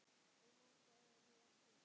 Ég man það nú ekki.